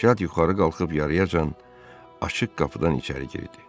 Şad yuxarı qalxıb yarıyacan açıq qapıdan içəri girdi.